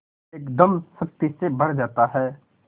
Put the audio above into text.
एकदम शक्ति से भर जाता है